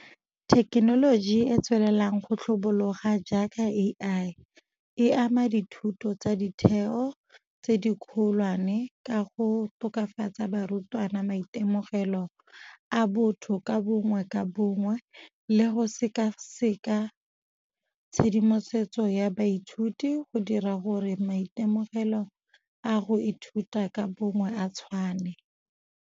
Thekenoloji e e tswelelang go tlhabologa jaaka A_I e ama dithuto tsa ditheo tse di kgolwane ka go tokafatsa barutwana maitemogelo a botho ka bongwe ka bongwe, le go sekaseka tshedimosetso ya baithuti go dira gore maitemogelo a go ithuta ka bongwe a tshwane.